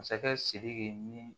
Masakɛ sidiki ni